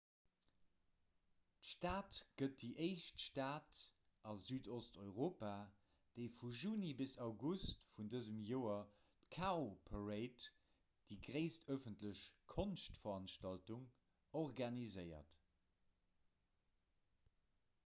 d'stad gëtt déi éischt stad a südosteuropa déi vu juni bis august vun dësem joer d'cowparade déi gréisst ëffentlech konschtveranstaltung organiséiert